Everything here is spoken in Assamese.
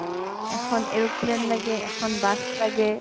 এখন aeroplane লাগে, এখন bus লাগে